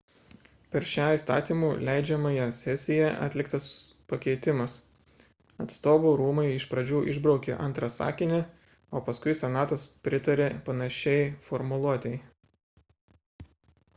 per šią įstatymų leidžiamąją sesiją atliktas pakeitimas atstovų rūmai iš pradžių išbraukė antrą sakinį o paskui senatas pritarė panašiai formuluotei